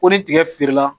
Ko ni tigɛ feerela